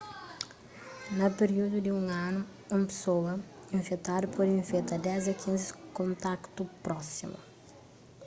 na piríudu di un anu un pesoa infetadu pode infeta 10 a 15 kontaktu prósimu